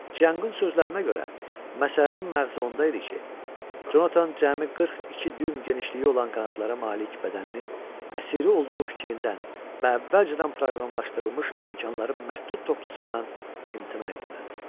Çianqın sözlərinə görə, məsələnin məğzi onda idi ki, Conatan cəmi 42 düyüm genişliyi olan qanadlara malik bədəninin əsiri olduğu fikrindən və əvvəlcədən proqramlaşdırılmış imkanların məhdud toplusundan imtina etməlidir.